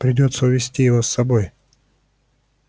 придётся увести его с собой